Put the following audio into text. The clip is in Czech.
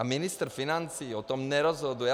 A ministr financí o tom nerozhoduje.